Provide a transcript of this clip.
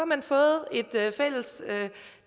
man fået et fælles